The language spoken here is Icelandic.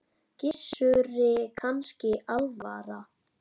Gissuri kannski alvara.